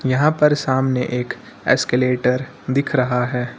यहां पर सामने एक एस्केलेटर दिख रहा है।